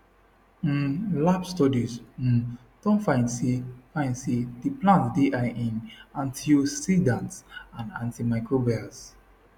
um lab studies um don find say find say di plants dey high in antioxidants and antimicrobials